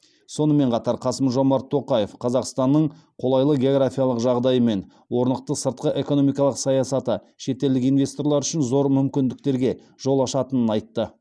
сонымен қатар қасым жомарт тоқаев қазақстанның қолайлы географиялық жағдайы мен орнықты сыртқы экономикалық саясаты шетелдік инвесторлар үшін зор мүмкіндіктерге жол ашатынын айтты